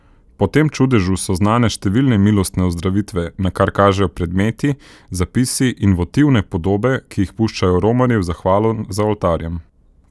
Po tem čudežu so znane številne milostne ozdravitve, na kar kažejo predmeti, zapisi in votivne podobe, ki jih puščajo romarji v zahvalo za oltarjem.